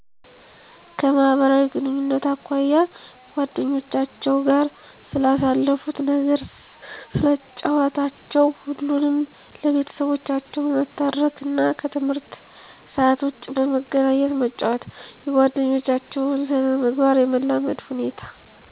_ከማህበራዊ ግንኙነት አኳያ አጓደኞቻቸዉ ጋር ስለሳለፋት ነገር ስለጨዋታቸው ሁሉንም ለቤተሰቦቻቸው መተረክ እና ከትምህርት ሰአት ዉጭ በመገናኘት መጫወት _የጓደኞታቸዉን ስነ-ምግባር የመላመድ ሁኔታ